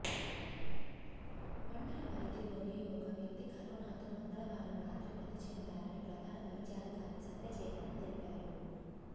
మండల పరిధిలోని ఒక వ్యక్తి కరోనాతో మంగళవారం రాత్రి మతిచెందారని ప్రధాన వైద్యాధికారి సత్య చైతన్య తెలిపారు